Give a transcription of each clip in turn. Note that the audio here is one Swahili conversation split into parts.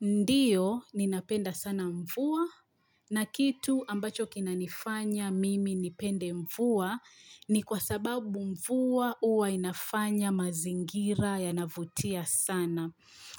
Ndiyo, ninapenda sana mvua, na kitu ambacho kinanifanya mimi nipende mvua, ni kwa sababu mvua huwa inafanya mazingira yanavutia sana.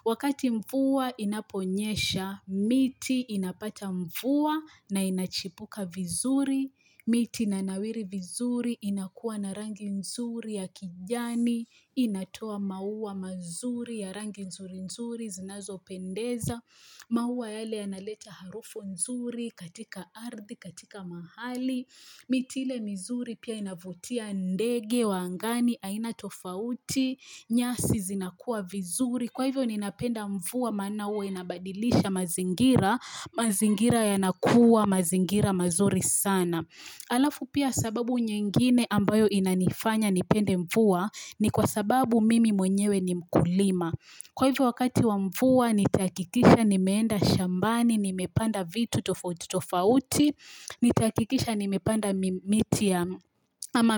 Wakati mvua inaponyesha, miti inapata mvua na inachipuka vizuri. Miti ina nawiri vizuri inakuwa na rangi nzuri ya kijani, inatoa maua mazuri ya rangi nzuri nzuri, zinazopendeza, maua yale yanaleta harufu nzuri katika ardhi, katika mahali, miti ile mizuri pia inavutia ndege, wa angani, aina tofauti, nyasi zinakuwa vizuri. Kwa hivyo ninapenda mvua maana huwa inabadilisha mazingira, mazingira yanakuwa, mazingira mazuri sana. Alafu pia sababu nyingine ambayo inanifanya ni pende mvua ni kwa sababu mimi mwenyewe ni mkulima. Kwa hivyo wakati wa mvua nitahakikisha nimeenda shambani, nimepanda vitu tofauti tofauti, Nitahakikisha nimepanda miti ya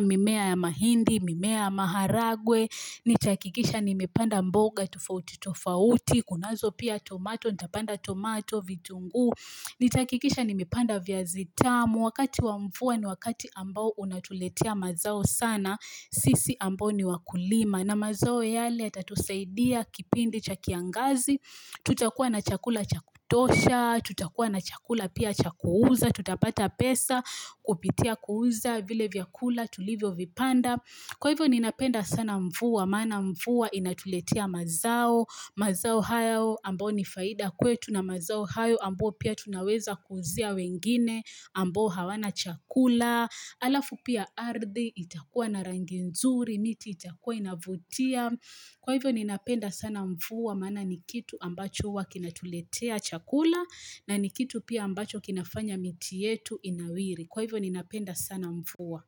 mimea ya mahindi, mimea ya maharagwe Nitahakikisha nimepanda mboga tofauti tofauti Kunazo pia tomato, nitapanda tomato, vitunguu Nitahakikisha nimepanda viazi tamu Wakati wa mvua ni wakati ambao unatuletea mazao sana sisi ambao ni wakulima na mazao yale yatatusaidia kipindi cha kiangazi Tutakua na chakula cha kutosha Tutakua na chakula pia cha kuuza tutapata pesa kupitia kuuza vile vyakula tulivyo vipanda kwa hivyo ninapenda sana mvua maana mvua inatuletea mazao mazao hayo ambao ni faida kwetu na mazao hayo ambao pia tunaweza kuuzia wengine ambao hawana chakula alafu pia ardhi itakuwa na rangi nzuri miti itakuwa inavutia kwa hivyo ninapenda sana mvua maana ni kitu ambacho huwa kinatuletea chakula na ni kitu pia ambacho kinafanya miti yetu inawiri Kwa hivyo ninapenda sana mvua.